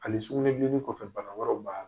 Ani sugunɛbilennin kɔfɛ bana wɛrɛw b'a la.